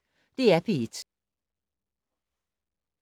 DR P1